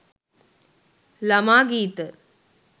lama geetha